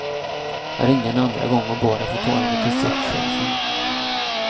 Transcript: Jag ringde en andra gång och bad att få tala med distriktschefen.